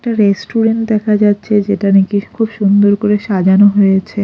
একটা রেস্টুরেন্ট দেখা যাচ্ছে যেটা নাকি খুব সুন্দর করে সাজানো হয়েছে।